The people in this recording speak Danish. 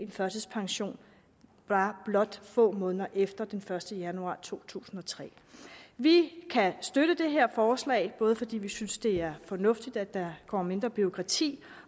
førtidspension bare få måneder efter den første januar to tusind og tre vi kan støtte det her forslag både fordi vi synes det er fornuftigt at der kommer mindre bureaukrati